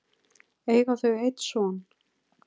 eiga þau einn son.